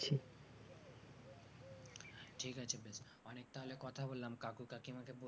ঠিক আছে তাহলে অনেকটা কথা বললাম কাকু কাকিমা কে